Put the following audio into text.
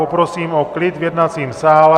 Poprosím o klid v jednacím sále.